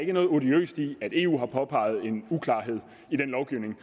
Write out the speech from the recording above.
er noget odiøst i at eu har påpeget en uklarhed i den lovgivning